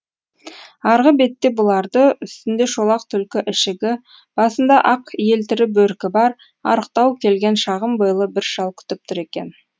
арғы бетте бұларды үстінде шолақ түлкі ішігі басында ақ елтірі бөркі бар арықтау келген шағын бойлы бір шал күтіп тұр екен